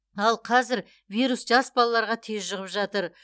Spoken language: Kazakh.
ал қазір вирус жас балаларға тез жұғып жатыр